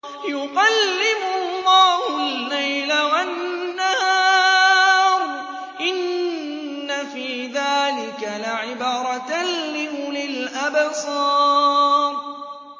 يُقَلِّبُ اللَّهُ اللَّيْلَ وَالنَّهَارَ ۚ إِنَّ فِي ذَٰلِكَ لَعِبْرَةً لِّأُولِي الْأَبْصَارِ